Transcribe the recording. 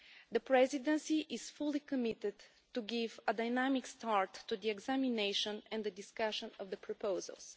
The Presidency is fully committed to giving a dynamic start to the examination and the discussion of the proposals.